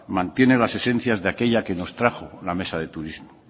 mantiene las esencias de aquella que nos trajo la mesa de turismo